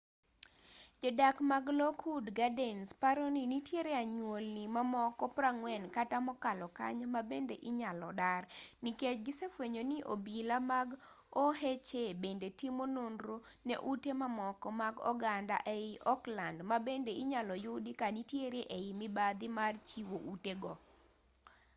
jo-dak mag lockwood gardens paro ni nitiere anyuolni mamoko 40 kata mokalo kanyo mabende inyalo dar nikech gisefuenyo ni obila mag oha bende timo nonro ne ute mamoko mag oganda ei oakland ma bende inyalo yudi ka nitiere ei mibadhi mar chiwo ute go